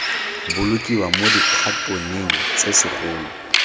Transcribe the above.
bolokiwa mo dikhatoneng tse segolo